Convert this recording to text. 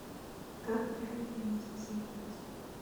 как правильно медитировать